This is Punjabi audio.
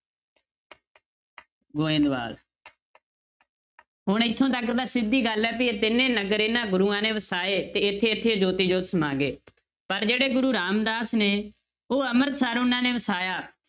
ਗੋਬਿੰਦਵਾਲ ਹੁਣ ਇੱਥੋਂ ਤੱਕ ਤਾਂ ਸਿੱਧੀ ਗੱਲ ਹੈ ਵੀ ਇਹ ਤਿੰਨੇ ਨਗਰ ਇਹਨਾਂ ਗੁਰੂਆਂ ਨੇ ਵਸਾਏ ਤੇ ਇੱਥੇ ਇੱਥੇ ਜੋਤੀ ਜੋਤ ਸਮਾ ਗਏ ਪਰ ਜਿਹੜੇ ਗੁਰੂ ਰਾਮਦਾਸ ਨੇ ਉਹ ਅੰਮ੍ਰਿਤਸਰ ਉਹਨਾਂ ਨੇ ਵਸਾਇਆ